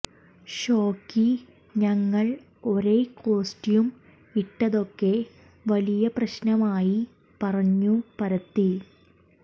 ഷോയ്ക്ക് ഞങ്ങൾ ഒരേ കോസ്റ്റ്യൂം ഇട്ടതൊക്കെ വലിയ പ്രശ്നമായി പറഞ്ഞു പരത്തി